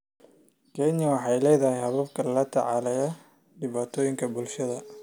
Kenya waxay leedahay habab la tacaalaya dhibaatooyinka bulshada.